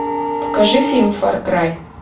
покажи фильм фар край